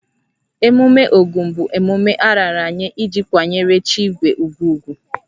Emume Ogun bụ emume a raara nye iji kwanyere chi igwe ugwu ugwu